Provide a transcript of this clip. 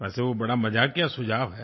वैसे वो बड़ा मज़ाकिया सुझाव है